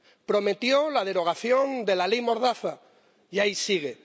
Prometió la derogación de la Ley mordaza y ahí sigue.